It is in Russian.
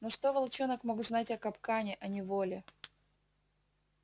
но что волчонок мог знать о капкане о неволе